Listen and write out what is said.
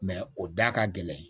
o da ka gɛlɛn